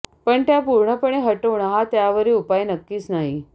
पण त्या पूर्णपणे हटवणं हा त्यावरील उपाय नक्कीच नाही